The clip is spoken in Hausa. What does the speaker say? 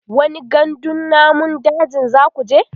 wani gandun namun dajin zakuje?